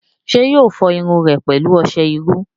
ṣé yóò fọ irun rẹ̀ pẹ̀lú ọsẹ iru?